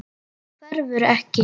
Hverfur ekki.